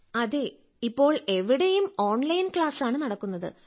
അതെ ഇപ്പോൾ എവിടെയും ഓൺലൈൻ ക്ലാസ്സ് ആണ് നടക്കുന്നത്